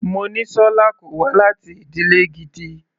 Monísọ́lá kò wá láti ìdílè gidi.